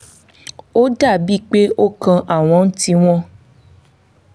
ó dà bíi pé ó kàn àwọn ń tíi wọn.